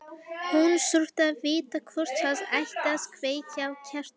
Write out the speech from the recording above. Hún þurfti að vita hvort það ætti að kveikja á kertum.